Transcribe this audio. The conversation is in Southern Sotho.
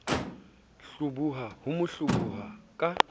hloboha ho mo hloboha ka